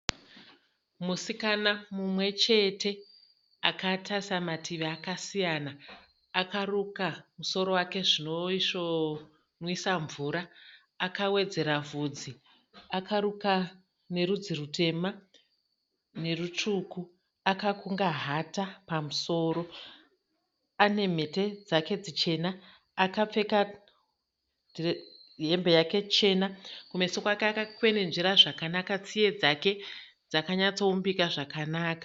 Musikana mumwe chete akatarisa mativi akasiyana akarukwa zvoisvo nwisa mvura, akawedzera bvudzi, akarukwa nerudzi rutema nerutsvuku akakunga hata pamusoro, anemhete dzake dzichena akapfeka hembe yake chena, kumeso kwake akakwenenzvera zvakanaka, tsiye dzake dzakaumbika zvakanaka.